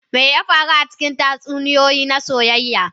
Me ya faru a cikin tatsuniyoyi na soyayya?